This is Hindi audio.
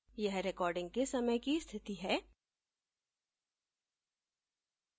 यह recording के समय की स्थिति है